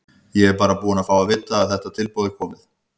Ég er bara búinn að fá að vita að þetta tilboð er komið.